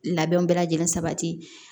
Labɛnw bɛɛ lajɛlen sabati